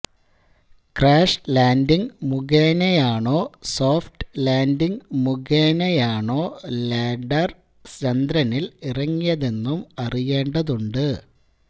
crash landing മുഖേനയാണോ soft landing മുഖേനയാണോ lander ചന്ദ്രനില് ഇറങ്ങിയതെന്നും അറിയേണ്ടതുണ്ട്